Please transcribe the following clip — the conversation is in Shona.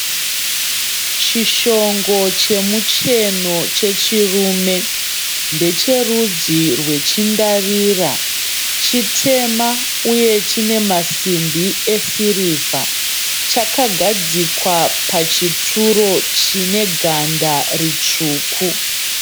Chishongo chemucheno chechirume. Ndecherudzi rwechindarira. Chitema uye chine masimbi esirivha. Chakagadzikwa pachituro chine ganda ritsvuku.